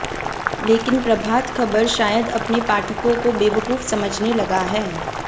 लेकिन प्रभात खबर शायद अपने पाठकों को बेवकूफ समझने लगा है